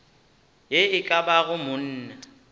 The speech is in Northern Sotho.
ye e ka bago monna